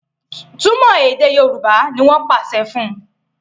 Túmọ èdè Yorùbá! ní wón pàṣẹ fún.